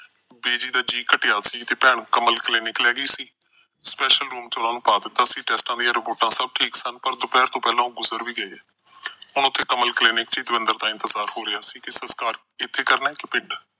Busy ਦਾ ਜੀਅ ਘਟਿਆ ਸੀ ਤੇ ਭੈਣ ਕਮਲ Clinic ਲੈ ਗਈ ਸੀ। special room ਚ ਉਹਨਾਂ ਨੂੰ ਪਾਤਾ ਸੀ, ਟੈਸਟਾਂ ਦੀਆਂ ਰਿਪੋਰਟਾਂ ਸਾਰੀਆਂ ਠੀਕ ਸਨ ਪਰ ਦੁਪਹਿਰ ਤੋਂ ਪਹਿਲਾ ਉਹ ਗੁਜਰ ਵੀ ਗਏ। ਹੁਣ ਤਾਂ ਕਮਲ Clinic ਵਿੱਚ ਹੀ ਦਵਿੰਦਰ ਦਾ ਇੰਤਜਾਰ ਹੋ ਰਿਹਾ ਸੀ ਕਿ ਸਸਕਾਰ ਇਥੇ ਕਰਨਾ ਕਿ ਪਿੰਡ।